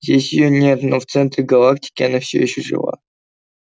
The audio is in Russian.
здесь её нет но в центре галактики она все ещё жива